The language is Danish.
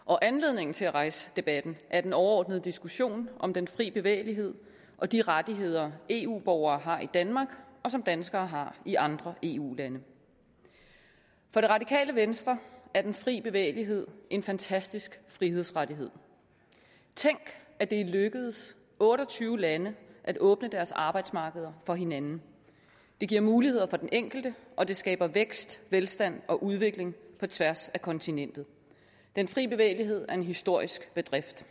og anledningen til at rejse debatten er den overordnede diskussion om den fri bevægelighed og de rettigheder eu borgere har i danmark og som danskere har i andre eu lande for det radikale venstre er den fri bevægelighed en fantastisk frihedsrettighed tænk at det er lykkedes otte og tyve lande at åbne deres arbejdsmarkeder for hinanden det giver muligheder for den enkelte og det skaber vækst velstand og udvikling på tværs af kontinentet den fri bevægelighed er en historisk bedrift